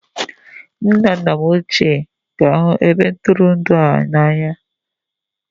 Nne na nna m ochie ga-ahụ ebe ntụrụndụ a n'anya